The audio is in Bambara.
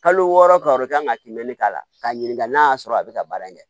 Kalo wɔɔrɔ kalo kan ka kimɛni k'a la k'a ɲininka n'a y'a sɔrɔ a bɛ ka baara in kɛ